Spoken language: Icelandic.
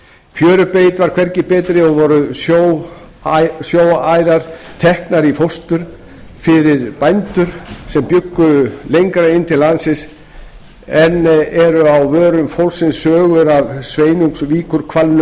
fjörubeit var hvergi betri og voru sjóarær teknar í fóstur fyrir bændur sem bjuggu lengra inn til landsins enn eru á vörum fólksins sögur af